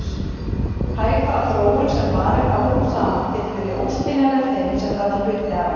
Hægfara þróun sem varir árum saman getur verið óskiljanleg þeim sem verða hluti af henni.